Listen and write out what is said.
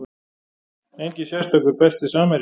Enginn sérstakur Besti samherjinn?